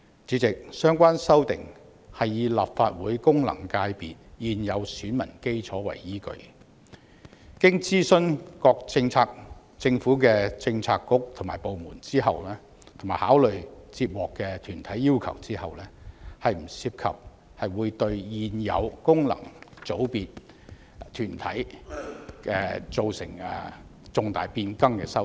主席，相關修訂是以立法會功能界別現有選民基礎為依據，經諮詢各政策局/部門，並考慮接獲的團體要求，不涉及會對現有功能界別團體造成重大變更的修訂。